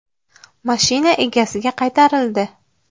Mashina egasiga qaytarildi.